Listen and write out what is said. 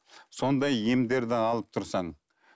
сондай емдерді алып тұрсаң